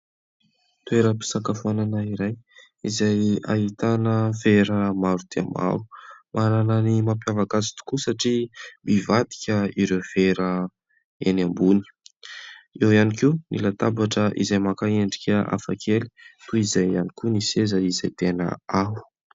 Toeram-pisakafoanana iray izay ahitana vera maro dia maro. Manana ny mampiavaka azy tokoa satria mivadika ireo vera eny ambony. Eo ihany koa ny latabatra izay maka endrika hafakely toy izay ihany koa ny seza izay tena ao.